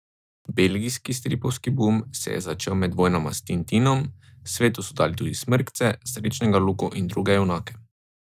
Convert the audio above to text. Belgijski stripovski bum se je začel med vojnama s Tintinom, svetu so dali tudi Smrkce, Srečnega Luko in druge junake.